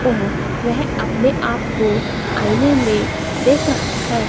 और वह अपने आप को आइने में देख रहा है।